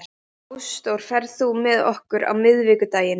Ásdór, ferð þú með okkur á miðvikudaginn?